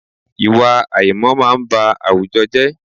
Ìwà àìmọ̀ máa n ba àwùjọ jẹ́